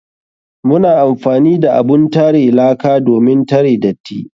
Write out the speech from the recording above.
Muna amfani da abun tare laka domin tare datti.